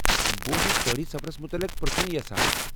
بہٕ اوسُس پہٲڈی سفرس مُتعلق پر٘ژُھن یژھان ۔